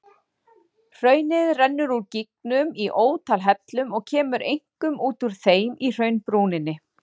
Hraunið rennur úr gígnum í ótal hellum og kemur einkum út úr þeim í hraunbrúninni.